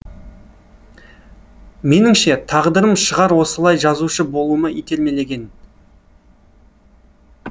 меніңше тағдырым шығар осылай жазушы болуыма итермелеген